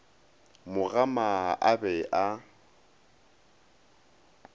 mo gama a be a